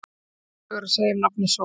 Sömu sögu er að segja um nafnið Sól.